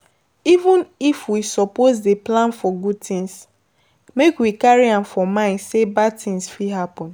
Even if we suppose dey plan for good things, make we carry am for mind sey bad thing fit happen